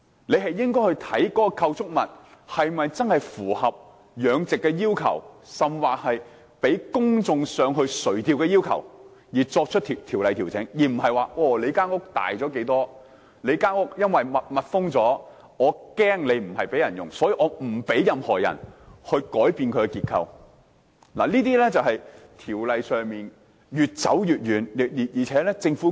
政府應該考慮相關構築物是否真正符合養殖的要求，甚或是否符合公眾上魚排垂釣的要求，再就條例作出調整，而不是說屋大了多少，又或因為屋是密封，懷疑不是開放給公眾使用，因此就不讓任何人改變結構，這正正是條例越來越脫節的例子。